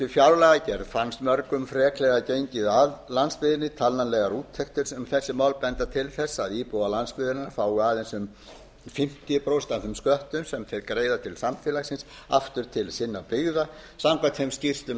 fjárlagagerð fannst mörgum freklega gengið að landsbyggðinni talnalegar úttektir um þessi mál benda til þess að íbúar landsbyggðarinnar fái aðeins um fimmtíu prósent af þeim svörtu sem þeir greiða til samfélagsins aftur til sinna byggða samkvæmt þeim skýrslum